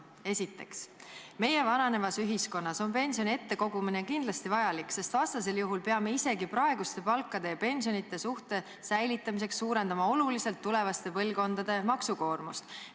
Esiteks: "Meie vananevas ühiskonnas on pensioni ette kogumine kindlasti vajalik, sest vastasel juhul peame isegi praeguste palkade ja pensionite suhte säilitamiseks suurendama oluliselt tulevaste põlvkondade maksukoormust.